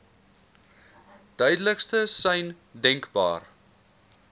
duidelikste sein denkbaar